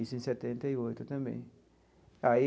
Isso em setenta e oito também aí.